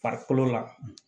Farikolo la